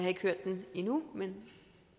ikke hørt det endnu men